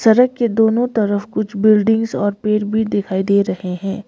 सड़क के दोनों तरफ कुछ बिल्डिंग्स और पेड़ भी दिखाई दे रहे हैं।